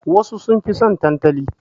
Wasu sun fi son tantali.